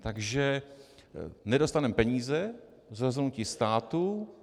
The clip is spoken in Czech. Takže nedostaneme peníze z rozhodnutí státu.